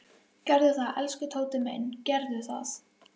Gerðu það, elsku Tóti minn, gerðu það.